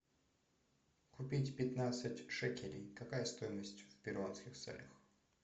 купить пятнадцать шекелей какая стоимость в перуанских солях